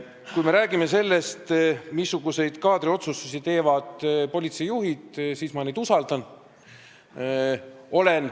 Kui me räägime sellest, missuguseid kaadriotsustusi teevad politseijuhid, siis neid ma usaldan.